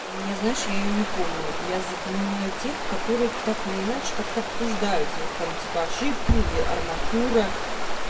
и я знаешь я её не помню я запоминаю тех которые так или иначе как то обсуждаются вот там типа ошибки или арматура